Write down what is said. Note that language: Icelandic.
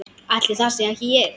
Ætli það sé ekki ég.